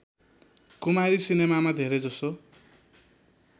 कुमारी सिनेमामा धेरैजसो